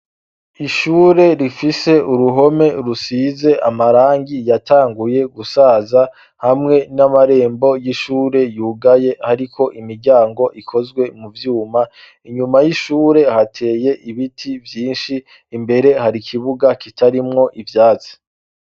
Ishure rifise uruhome rusize amarangi yatanguye gusaza hamwe n'amarembo y'ishure yugaye, ariko imiryango ikozwe mu vyuma inyuma y'ishure hateye ibiti vyinshi imbere hari ikibuga kitarimwo ivyatsi.